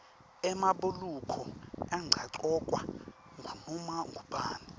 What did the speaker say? emabhuluko angagcokwa ngunoma ngubani